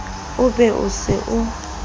o be o se o